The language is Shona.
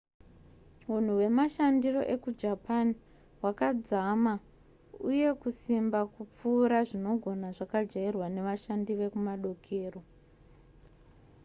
hunhu hwemashandiro ekujapan hwakadzama uye kusimba kupfuura zvinogona zvakajairwa nevashandi vekumadokero